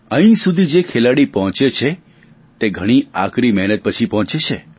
અહીં સુધી જે ખેલાડી પહોંચે છે તે ઘણી આકરી મહેનત પછી પહોંચે છે